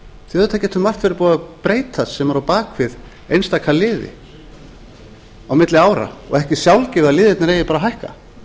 auðvitað getur margt verið búið að breytast sem er á bak við einstaka liði á milli ára og ekki sjálfgefið að liðirnir eigi bara að hækka